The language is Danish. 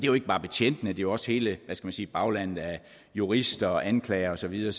jo ikke bare betjentene det er også hele baglandet af jurister og anklagere og så videre